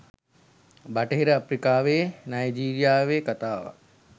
බටහිර අප්‍රිකාවේ නයිජීරියාවේ කථාවක්.